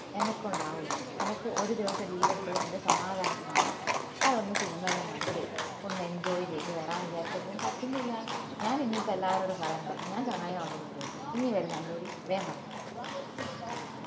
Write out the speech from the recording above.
അന്ന കൊണ്ടാവുല്ല അനക്ക് ഒരു ദിവസം leave എടുത്തത് എന്റെ സമാധാനത്തിന് വേണ്ടീട്ടാ അത് ഒന്ന് സിനിമ എല്ലൊം കണ്ട് ഒന്ന് enjoy ചെയ്ത് വരാന്ന് വിചാരിച്ചപ്പോ പറ്റുന്നില്ല ഞാൻ ഇനീപ്പോ എല്ലാരോടും പറയാൻ പോന്ന ഞാൻ ചങ്ങായിമാരോടി പോന്ന ഇഞ് വരുന്ന എന്നോടി വേം പറ